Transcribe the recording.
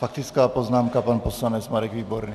Faktická poznámka, pan poslanec Marek Výborný.